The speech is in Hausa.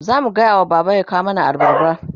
zamu gayawa baba ya kawo mana abarba